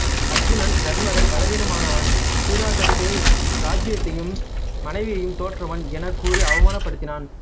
அருச்சுனன் தருமரை பலவீனமானவன்சூதாட்டத்தில் இராச்சியத்தையும்மனைவியையும் தோற்றவன் எனக் கூறி அவமானப் படுத்தினான்